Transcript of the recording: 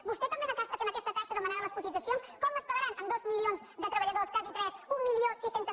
vostè també en aquesta caixa demanarà les cotitza cions com es pagaran amb dos milions de treballadors quasi tres mil sis cents